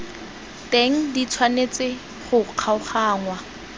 teng di tshwanetse go kgaoganngwa